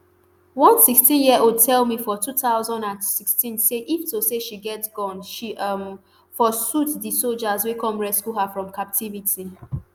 one sixteenyearold tell me for two thousand and sixteen say if to say she get gun she um for shoot di sojas wey come rescue her from captivity